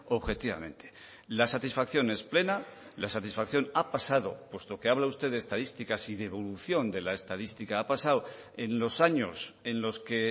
objetivamente la satisfacción es plena la satisfacción ha pasado puesto que habla usted de estadísticas y de evolución de la estadística ha pasado en los años en los que